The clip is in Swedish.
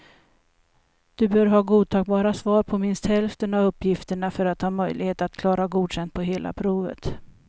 Du bör ha godtagbara svar på minst hälften av uppgifterna för att ha möjlighet att klara godkänd på hela provet.